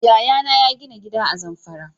Yaya na ya gina gida a Zamfara